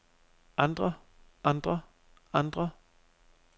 andre andre andre